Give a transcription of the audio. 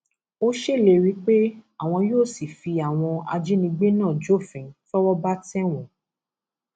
ó ṣèlérí pé àwọn yóò sì fi àwọn ajínigbé náà jófin tọwọ bá tẹ wọn